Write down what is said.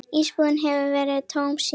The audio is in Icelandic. Íbúðin hefur verið tóm síðan.